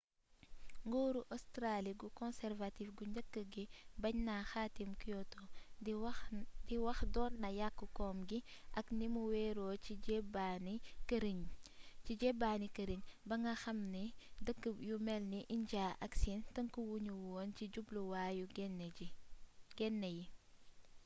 nguuru australi gu conservative gu njëkk gi baañ na xaatim kyoto di wax doon na yàkk kom gi ak ni mu weeeroo ci jeebaani këriñ ba nga xamee ne dëkk yu melni injaa ak siin tënkuwu nu woon ci jubluwaayu genne yi